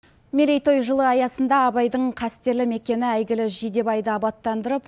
мерейтой жылы аясында абайдың қастерлі мекені әйгілі жидебайды абаттандырып